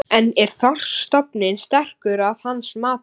En er þorskstofninn sterkur að hans mati?